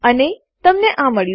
અને તમને આ મળ્યું